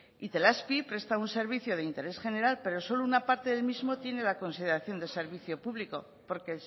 itelazpi presta un servicio de interés general pero solo una parte del mismo tiene la consideración de servicio público porque